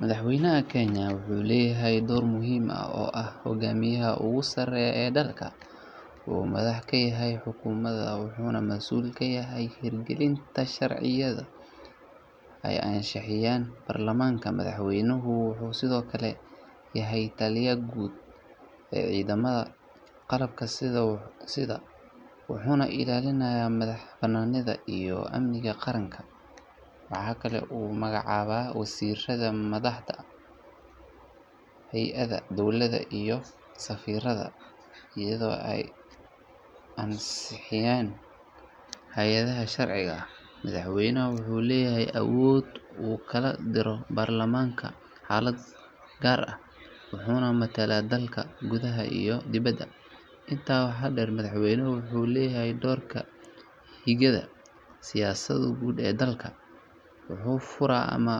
Madaxweynaha Kenya wuxuu leeyahay door muhiim ah oo ah hoggaamiyaha ugu sarreeya ee dalka. Wuxuu madax ka yahay xukuumadda wuxuuna mas’uul ka yahay hirgelinta sharciyada ay ansixiyaan baarlamaanka. Madaxweynaha wuxuu sidoo kale yahay taliyaha guud ee ciidamada qalabka sida, wuxuuna ilaalinayaa madaxbannaanida iyo amniga qaranka. Waxa kale oo uu magacaabaa wasiirrada, madaxda hay’adaha dowladda iyo safiirada, iyadoo ay ansixinayaan hay’adaha sharciga ah. Madaxweynaha wuxuu leeyahay awood uu ku kala diro baarlamaanka xaalado gaar ah, wuxuuna matalaa dalka gudaha iyo dibadda. Intaa waxaa dheer, madaxweynuhu wuxuu leeyahay doorka hagidda siyaasadda guud ee dalka, wuxuu furo ama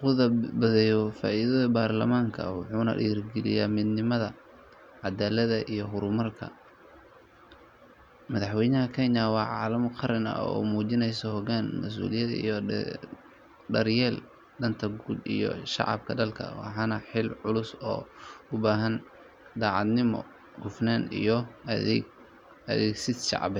khudbadeeyo fadhiyada baarlamaanka, wuxuuna dhiirrigeliyaa midnimada, caddaaladda iyo horumarka. Madaxweynaha Kenya waa calaamad qaran oo muujinaysa hoggaan, mas’uuliyad iyo daryeelka danta guud ee shacabka dalka. Waana xil culus oo u baahan daacadnimo, hufnaan iyo u adeegid shacab.